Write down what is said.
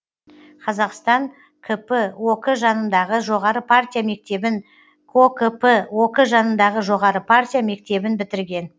қазақстан кп ок жанындағы жоғары партия мектебін кокп ок жанындағы жоғары партия мектебін бітірген